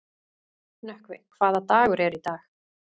Nökkvi, hvaða dagur er í dag?